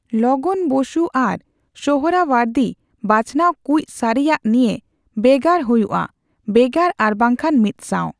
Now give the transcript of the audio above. ᱞᱚᱜᱚᱱ ᱵᱚᱥᱩ ᱟᱨ ᱥᱳᱦᱚᱨᱟᱣᱟᱨᱫᱤ ᱵᱟᱪᱷᱚᱱᱟᱣ ᱠᱩᱡ ᱥᱟᱹᱨᱤᱭᱟᱜ ᱱᱤᱭᱮ ᱵᱮᱜᱟᱨ ᱦᱩᱭᱩᱜᱼᱟ ᱵᱮᱜᱟᱨ ᱟᱨᱵᱟᱝᱠᱷᱟᱱ ᱢᱤᱫᱥᱟᱣ᱾